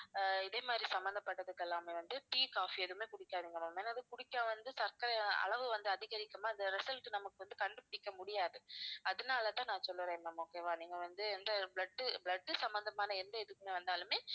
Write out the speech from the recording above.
ஆஹ் இதே மாதிரி சம்பந்தப்பட்டதுக்கெல்லாமே வந்து tea, coffee எதுவுமே குடிக்காதீங்க ma'am ஏன்னா வந்து குடிச்சா வந்து சர்க்கரையின் அளவு வந்து அதிகரிக்குமா அந்த result நமக்கு வந்து கண்டுபிடிக்க முடியாது அதனால தான் நான் சொல்லுறேன் ma'am okay வா நீங்க வந்து எந்த blood blood சம்பந்தமான எந்த இதுக்குமே வந்தாலுமே